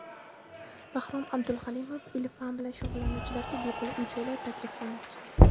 Bahrom Abduhalimov ilm-fan bilan shug‘ullanuvchilarga bepul uy-joylar taklif qilmoqchi.